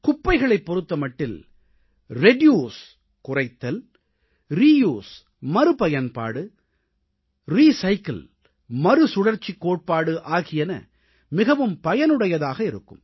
குப்பைகளைப் பொறுத்தமட்டில் ரிட்யூஸ் குறைத்தல் ரியூஸ் மறுபயன்பாடு மற்றும் ரிசைக்கிள் மறுசுழற்சிக் கோட்பாடு ஆகியன மிகவும் பயனுடையதாக இருக்கும்